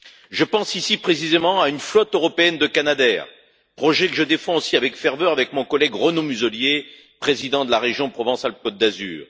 Je pense ici, précisément, à une flotte européenne de Canadair, projet que je défends aussi avec ferveur, avec mon collègue Renaud Muselier, président de la région Provence Alpes Côte d'Azur.